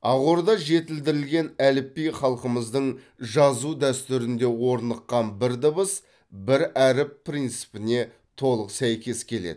ақорда жетілдірілген әліпби халқымыздың жазу дәстүрінде орныққан бір дыбыс бір әріп принципіне толық сәйкес келеді